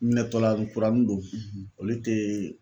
Ɲɛtɔla kuranin don olu tee